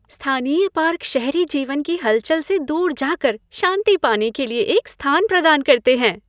स्थानीय पार्क शहरी जीवन की हलचल से दूर जा कर शांति पाने के लिए एक स्थान प्रदान करते हैं।